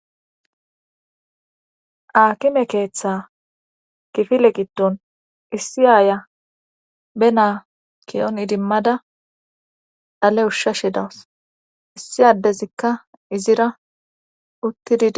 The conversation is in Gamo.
akime keeththa kifile gidon issi aaya be naa kiyon idimmada dhale ushsha she dawus issi addezikka izira uttididi